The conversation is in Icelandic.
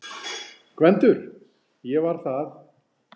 GVENDUR: Ég var það!